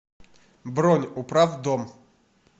бронь управдом